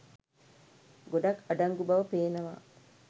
ගොඩක් අඩංගු බව පේනවා.